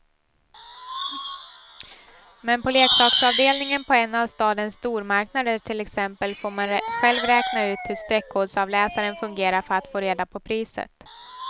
Men på leksaksavdelningen på en av stadens stormarknader till exempel får man själv räkna ut hur streckkodsavläsaren fungerar för att få reda på priset.